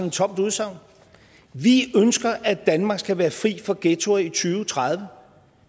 et tomt udsagn vi ønsker at danmark skal være fri for ghettoer i og tredive